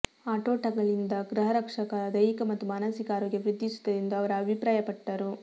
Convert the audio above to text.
ಆಟೋಟಗಳಿಂದ ಗೃಹರಕ್ಷಕರ ದೈಹಿಕ ಮತ್ತು ಮಾನಸಿಕ ಆರೋಗ್ಯ ವೃದ್ದಿಸುತ್ತದೆ ಎಂದು ಅವರು ಅಭಿಪ್ರಾಯ ಪಟ್ಟರು